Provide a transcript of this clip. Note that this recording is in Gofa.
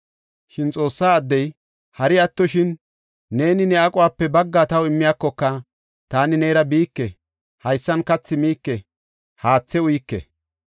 Shin Xoossaa addey, “Hari attoshin neeni ne aquwape baggaa taw immiyakoka, taani neera biike; haysan kathi miike, haathe uyike.